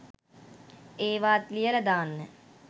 ඒවාත් ලියල දාන්න.